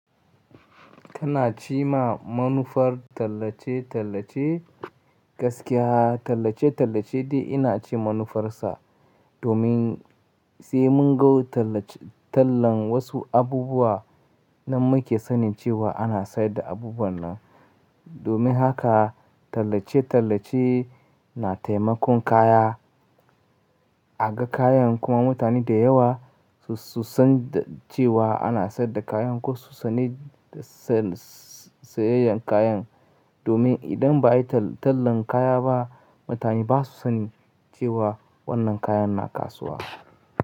Kana cima manufar tallace-tallace gaskiya. Tallace-tallace dai ina cin manufarsa domin sai mun ga tallace-- tallan wasu abubuwa nan muke sanin cewa ana sayar da abubuwan nan. Domin haka tallace-tallace na taimakon kaya, a ga kayan kuma mutane da yawa su, su san cewa ana sayar da kayan ko su sani sayayen kayan. Domin idan ba a yi tallan kaya ba, mutane ba su sani cewa wannan kayan na kasuwa.